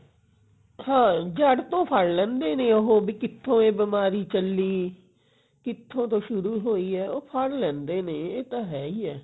ਹਾਂ ਜੜ ਤੋਂ ਫੜ ਲੈਂਦੇ ਨੇ ਉਹ ਵੀ ਕਿੱਥੋਂ ਇਹ ਬਿਮਾਰੀ ਚੱਲੀ ਕਿੱਥੋਂ ਤੋਂ ਸ਼ੁਰੂ ਹੋਈ ਐ ਉਹ ਫੜ ਲੈਂਦੇ ਨੇ ਇਹ ਤਾਂ ਹੈ ਈ ਐ